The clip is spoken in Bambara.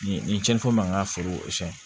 Ni ni cɛnso man ka foro